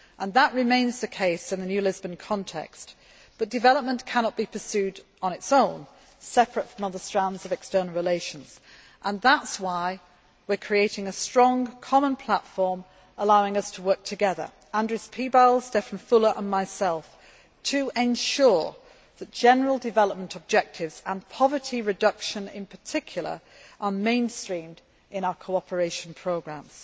That remains the case in the new Lisbon context, but development cannot be pursued on its own, separate from other strands of external relations. That is why we are creating a strong common platform, allowing us to work together Andris Piebalgs, Stefan Füle and myself to ensure that general development objectives and poverty reduction in particular are mainstreamed in our cooperation programmes.